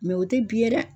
o tɛ bi ye dɛ